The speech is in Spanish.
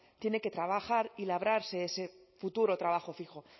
tiene que trabajar y labrarse un futuro trabajo fijo